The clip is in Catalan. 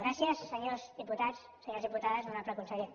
gràcies senyors diputats senyores diputades honorable conseller